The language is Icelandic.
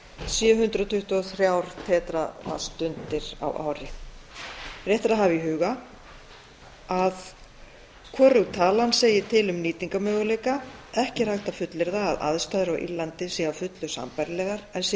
sé um hundrað tuttugu og þrjár tera vattstundir á ári rétt er að hafa í huga að hvorug talan segir til um nýtingarmöguleika ekki er hægt að fullyrða að aðstæður á írlandi séu að fullu sambærilegar en sé tekið tillit til